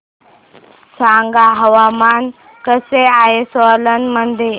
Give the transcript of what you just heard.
सांगा हवामान कसे आहे सोलान मध्ये